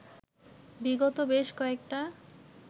বিগত বেশ কয়েকটা